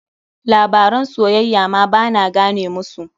Labaran soyayya ma ba na gane musu.